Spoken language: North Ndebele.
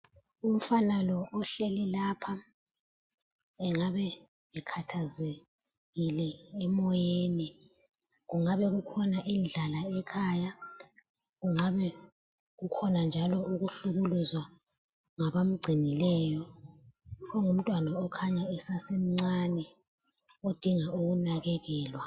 Umfana lo ohleli lapha, engabe ekhathazekile emoyeni. Kungabekukhona indlala ekhaya. Kungabekukhona njalo ukuhlukuluzwa ngabamgcinileyo. Ungumntwana okhanya esasemncane, odinga ukunakekelwa.